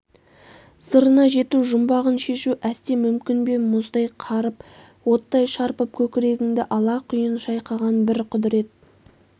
сырына жету жұмбағын шешу әсте мүмкін бе мұздай қарып оттай шарпып көкірегіңді алақұйын шайқаған бір құдырет